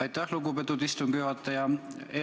Aitäh, lugupeetud istungi juhataja!